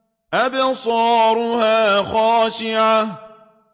أَبْصَارُهَا خَاشِعَةٌ